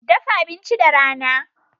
Dafa abinci da rana.